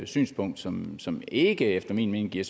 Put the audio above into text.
synspunkt som som ikke efter min mening giver